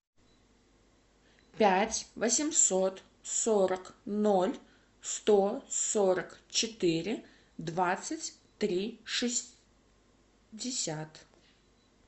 пять восемьсот сорок ноль сто сорок четыре двадцать три шестьдесят